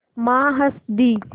माँ हँस दीं